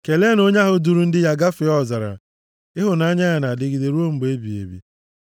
Keleenụ onye duuru ndị ya gafee ọzara, Ịhụnanya ya na-adịgide ruo mgbe ebighị ebi.